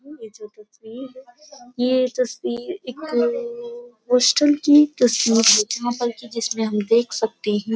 ये तस्वीर एक पोस्टल की तस्वीर जहाँ पर की जिसमें हम देख सकते हैं --